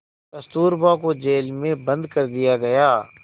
कस्तूरबा को जेल में बंद कर दिया गया